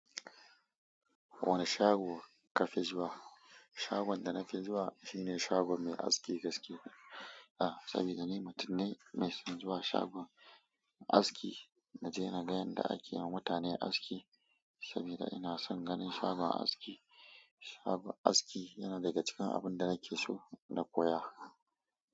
Wane shago ka fi zuwa? Shagon da na fi zuwa shine shagon mai aski gaskiya a saboda ni mutum ne mai son zuwa shagon aski, na je na ga yanda ake ma mutane aski saboda ina son ganin shagon aski. Shagon aski yana daga cikin abun da nake so na koya.